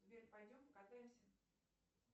сбер пойдем покатаемся